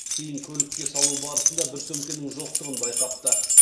кейін көлікке салу барысында бір сөмкемнің жоқтығын байқапты